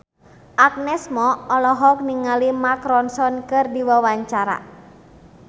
Agnes Mo olohok ningali Mark Ronson keur diwawancara